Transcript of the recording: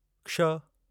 क्ष